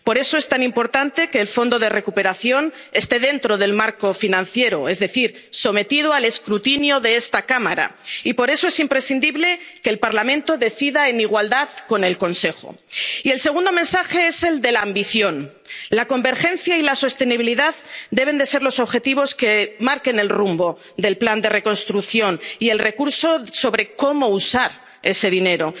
común. Por eso es tan importante que el Fondo de Recuperación y Transformación esté dentro del marco financiero, es decir, sometido al escrutinio de esta Cámara y por eso es imprescindible que el Parlamento decida en igualdad con el Consejo. Y el segundo mensaje es el de la ambición. La convergencia y la sostenibilidad deben ser los objetivos que marquen el rumbo del plan de reconstrucción y el recurso sobre cómo usar